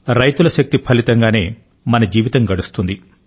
రైతుల శక్తి ఫలితంగానే మన జీవితం గడుస్తుంది